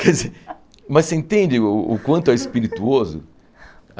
Quer dizer, mas você entende o o quanto é espirituoso?